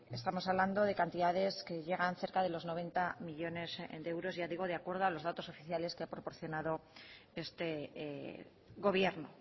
estamos hablando de cantidades que llegan cerca de los noventa millónes de euros ya digo de acuerdo a los datos oficiales que ha proporcionado este gobierno